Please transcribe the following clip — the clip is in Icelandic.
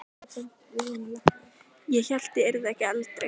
Ég hélt ég yrði ekki eldri!